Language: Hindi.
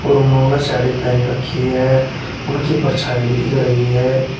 और उन्होंने साड़ी पहनी रखी है उनकी परछाई भी दिख रही है।